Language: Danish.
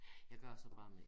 Jeg gør det så bare med